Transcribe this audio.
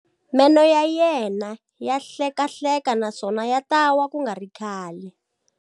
Meno ya yena ya hlekahleka naswona ya ta wa ku nga ri khale.